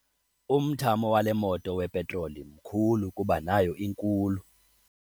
Umthamo wale moto wepetroli mkhulu kuba nayo inkulu.